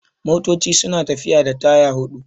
Motoci suna tafiya da taya hudu